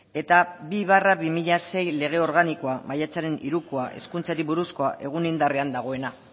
eta bi barra bi mila sei lege organikoa maiatzaren hirukoa hezkuntzari buruzkoa egun indarrean dagoena